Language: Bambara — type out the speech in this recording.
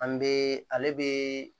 An bɛ ale bɛ